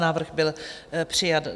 Návrh byl přijat.